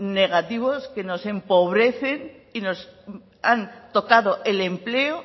negativos que nos empobrecen y nos han tocado el empleo